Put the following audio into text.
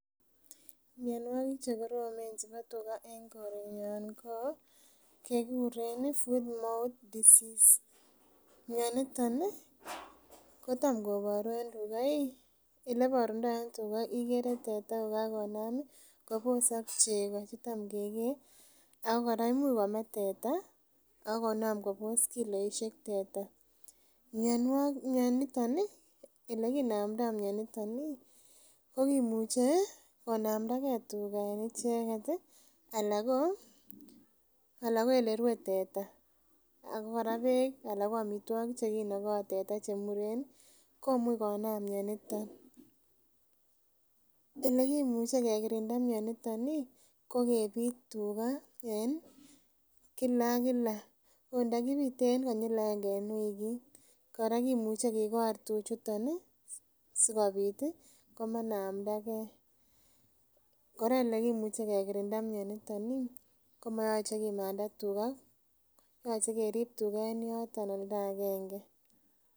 Mionwogik chekoromen chebo tuga en korenyun kokekuren foot mouth disease mioniton ih kotam koboru en tuga eleborundo en tuga ikere kokakinam kobosok chego chetam kekee ak kora imuch kome teta ak konam kobos kiloisiek teta, mioniton ih elekinomdoo mioniton ih kokimuche konamda gee tuga en icheket ih ana ko elerue teta ana ko beek ana ko amitwogik chekinogo teta chemuren ih komuch konam mioniton. Elekimuche kekirinda mioniton ih kokebit tuga en kila ak kila ot ndokibite en kila agenge en wikit. Kora kimuche kikor tuchuton ih sikobit komanda gee. Kora elekimuche kekirinda mioniton ih komoyoche kimanda tuga yoche kerib tuga en yoton oldo agenge